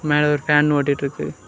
மேல ஒரு ஃபேன் ஓடிட்டுருக்கு.